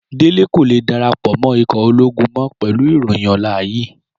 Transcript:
Délé kò lè darapọ̀ mọ́ ikọ̀ ológun mọ́ pẹ̀lú ìròyìn ọ̀la yìí.